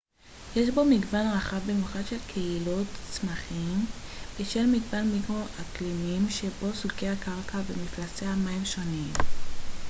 יש בו מגוון רחב במיוחד של קהילות צמחים בשל מגוון מיקרו-אקלימים שבו סוגי הקרקע ומפלסי המים השונים